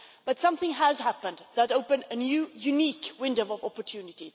But something has happened that opened a new unique window of opportunity.